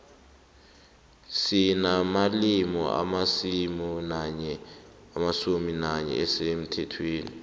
sinamalimi alisumi nanye asemthethweni